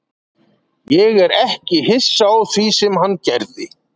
Ég er ekki hissa á því sem hann gerði.